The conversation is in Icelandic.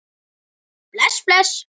Bless, bless.